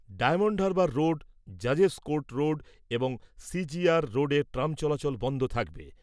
Diamond Harbour road , জাজেস court road এবং CGR রোডে ট্রাম চলাচল বন্ধ থাকবে।